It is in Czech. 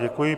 Děkuji.